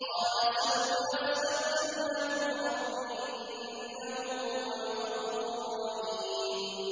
قَالَ سَوْفَ أَسْتَغْفِرُ لَكُمْ رَبِّي ۖ إِنَّهُ هُوَ الْغَفُورُ الرَّحِيمُ